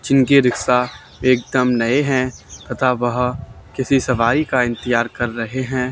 जिनकी रिक्शा एकदम नए हैं। तथा वह किसी सवारी का इंतजार कर रहे हैं।